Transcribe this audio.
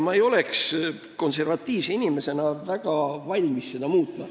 Mina konservatiivse inimesena ei oleks väga valmis seda muutma.